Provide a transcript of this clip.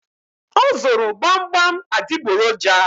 O zụrụ gbamgbam adịgboroja